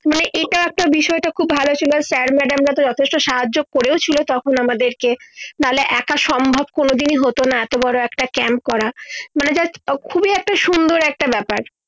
মানে এটা একটা বিষয় টা খুব ছিলো sir madam রা যথেষ্ট সাহায্য করেও ছিলো তখন আমাদের কে নাইলে একা সম্ভব কোন দিনই হত না এত বড় একটা camp করা মানে just খুবই একটা সুন্দর একটা ব্যাপার